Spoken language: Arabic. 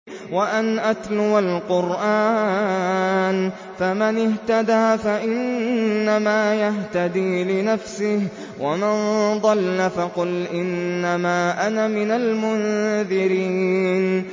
وَأَنْ أَتْلُوَ الْقُرْآنَ ۖ فَمَنِ اهْتَدَىٰ فَإِنَّمَا يَهْتَدِي لِنَفْسِهِ ۖ وَمَن ضَلَّ فَقُلْ إِنَّمَا أَنَا مِنَ الْمُنذِرِينَ